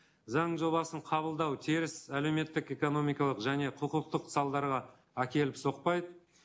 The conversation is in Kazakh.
заң жобасын қабылдау теріс әлеуметтік экономикалық және құқықтық салдарға әкеліп соқпайды